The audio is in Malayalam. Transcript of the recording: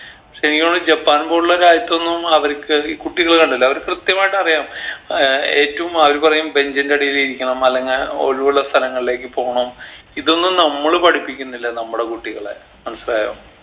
ശരിക്കു മ്മള് ജപ്പാൻ പോലുള്ള രാജ്യത്തൊന്നും അവരിക്ക് ഈ കുട്ടികളെ കണ്ടിട്ടില്ലേ അവര് കൃത്യമായിട്ട് അറിയാം ഏർ ഏറ്റവും അവര് പറയും bench ൻറെ അടിയില് ഇരിക്കണം അല്ലെങ്കി ഒഴിവുള്ള സ്ഥലങ്ങളിലേക്ക് പോണം ഇതൊന്നും നമ്മള് പഠിപ്പിക്കുന്നില്ല നമ്മടെ കുട്ടികളെ മനസ്സിലായോ